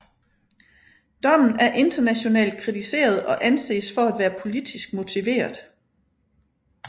Dommen er internationalt kritiseret og anses for at være politisk motiveret